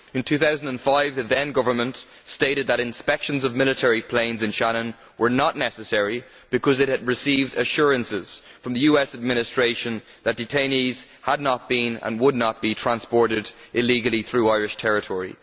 In 2005, the then government stated that inspections of military planes in Shannon were not necessary because it had received assurances from the US Administration that detainees had not been and would not be transported illegally through Irish territory.